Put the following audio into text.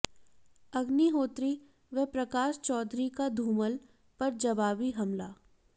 अग्निहोत्री व प्रकाश चौधरी का धूमल पर जवाबी हमला